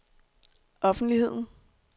offentligheden